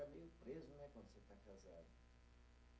meio preso né, quando você está casado.